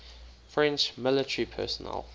french military personnel